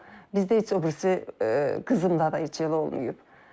Bizdə heç o birisi qızımda da heç elə olmayıb.